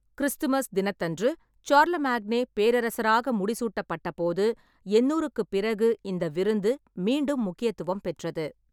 Christmas தினத்தன்று Charlemagne பேரரசராக முடிசூட்டப்பட்டபோது எண்ணூறுக்குப் பிறகு இந்த விருந்து மீண்டும் முக்கியத்துவம் பெற்றது.